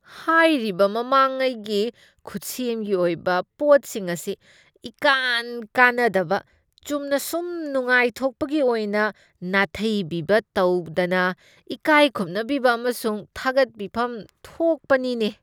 ꯍꯥꯏꯔꯤꯕ ꯃꯃꯥꯡꯉꯩꯒꯤ ꯈꯨꯠꯁꯦꯝꯒꯤ ꯑꯣꯏꯕ ꯄꯣꯠꯁꯤꯡ ꯑꯁꯤ ꯏꯀꯥꯟ ꯀꯥꯟꯅꯗꯕ ꯆꯨꯝꯅꯁꯨꯝ ꯅꯨꯡꯉꯥꯏꯊꯣꯛꯄꯒꯤ ꯑꯣꯏꯅ ꯅꯥꯊꯩꯕꯤꯕ ꯇꯧꯗꯅ ꯏꯀꯥꯏꯈꯨꯝꯅꯕꯤꯕ ꯑꯃꯁꯨꯡ ꯊꯥꯒꯠꯄꯤꯐꯝ ꯊꯣꯛꯄꯅꯤꯅꯦ꯫